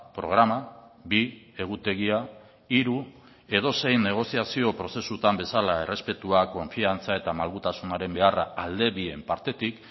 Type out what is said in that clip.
programa bi egutegia hiru edozein negoziazio prozesutan bezala errespetua konfiantza eta malgutasunaren beharra alde bien partetik